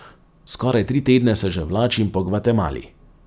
Skoraj tri tedne se že vlačim po Gvatemali.